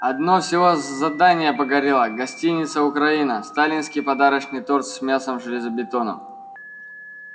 одно всего задание горело гостиница украина сталинский подарочный торт с мясом и железобетоном